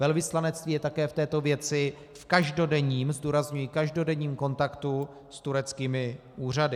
Velvyslanectví je také v této věci v každodenním - zdůrazňuji každodenním - kontaktu s tureckými úřady.